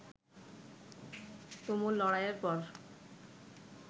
তুমুল লড়াইয়ের পর